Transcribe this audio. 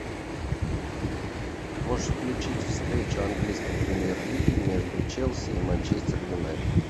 можешь включить встречу английской премьер лиги между челси и манчестер юнайтед